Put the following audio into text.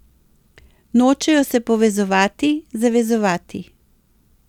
Nočejo se povezovati, zavezovati.